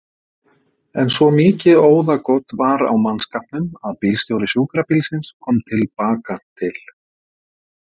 En svo mikið óðagot var á mannskapnum að bílstjóri sjúkrabílsins kom til baka til